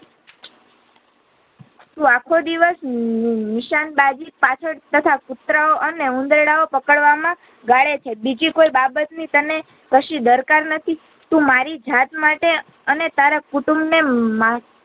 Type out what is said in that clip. તું આખો દિવસ ની નીશાનબાજી પાછળ તથા કુતરા ઓ અને ઉંદરડાઓ પકડવામાં ગાળે છે બીજી કોઈ બાબતની તને કશી દરકાર નથી તું મારી જાત માટે અને તારા કુટુંબ ને માં